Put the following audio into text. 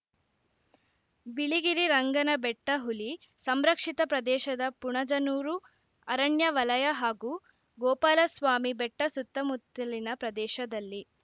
ಬಿಳಿಗಿರಿರಂಗನಬೆಟ್ಟಹುಲಿ ಸಂರಕ್ಷಿತ ಪ್ರದೇಶದ ಪುಣಜನೂರು ಅರಣ್ಯ ವಲಯ ಹಾಗೂ ಗೋಪಾಲಸ್ವಾಮಿ ಬೆಟ್ಟಸುತ್ತಮುತ್ತಲಿನ ಪ್ರದೇಶದಲ್ಲಿ